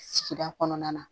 Sigida kɔnɔna na